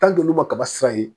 olu ma kaba sira ye